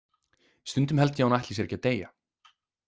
Stundum held ég að hún ætli sér ekki að deyja.